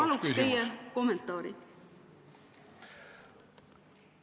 Paluks teie kommentaari!